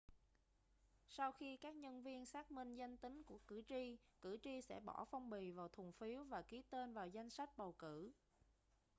sau khi các nhân viên xác minh danh tính của cử tri cử tri sẽ bỏ phong bì vào thùng phiếu và ký tên vào danh sách bầu cử